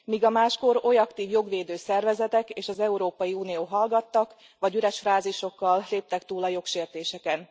Míg a máskor oly aktív jogvédő szervezetek és az Európai Unió hallgattak, vagy üres frázisokkal léptek túl a jogsértéseken.